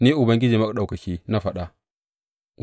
Ni Ubangiji Maɗaukaki na faɗa.